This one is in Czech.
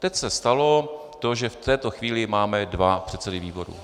Teď se stalo to, že v této chvíli máme dva předsedy výborů.